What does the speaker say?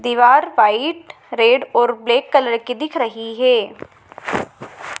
दीवार white red और black colour की दिख रही है।